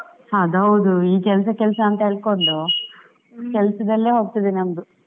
ಅದ್ ಹೌದು, ಈ ಕೆಲಸ ಕೆಲಸ ಅಂತ ಹೇಳ್ಕೊಂಡು ಕೆಲಸದಲ್ಲೇ ಹೋಗ್ತದೆ ನಮ್ಮದು.